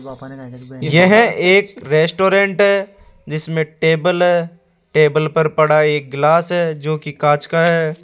यह एक रेस्टोरेंट है जिसमें टेबल है टेबल पर पड़ा एक गिलास है जो की कांच का है।